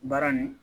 Baara nin